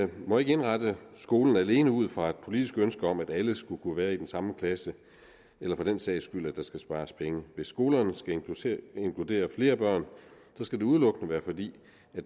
må ikke indrette skolen alene ud fra et politisk ønske om at alle skal kunne være i den samme klasse eller for den sags skyld at der skal spares penge hvis skolerne skal inkludere flere børn skal det udelukkende være fordi